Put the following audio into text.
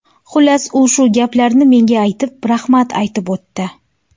Xullas, u shu gaplarni menga aytib, rahmat aytib o‘tdi.